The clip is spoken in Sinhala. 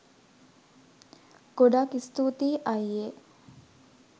ගොඩක් ස්තූතියි අයියේ